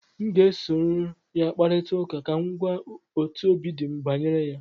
m ga-esoro ya kparịta ụka ka m gwa otú obi dị m banyere ya